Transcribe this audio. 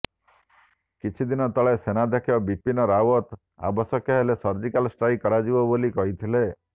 କିଛିଦିନ ତଳେ ସେନାଧ୍ୟକ୍ଷ ବିପିନ ରାଓ୍ବତ ଆବଶ୍ୟକ ହେଲେ ସର୍ଜିକାଲ ଷ୍ଟ୍ରାଇକ କରାଯିବ ବୋଲି କହିଥିଲେ